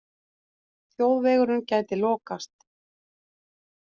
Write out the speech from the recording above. Þjóðvegurinn gæti lokast